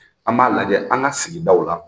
An b'a lajɛ an ka sigidaw la